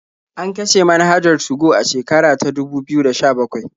An kashe manhajar 2go a shekara ta dubu biyu da sha-bakwai.